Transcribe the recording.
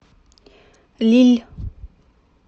лилль